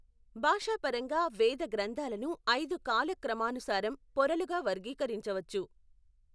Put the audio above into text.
భాషాపరంగా, వేద గ్రంథాలను ఐదు కాల క్రమానుసారం పొరలుగా వర్గీకరించవచ్చు.